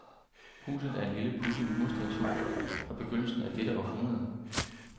Huset er et lille pudset murstenshus fra begyndelsen af dette århundrede.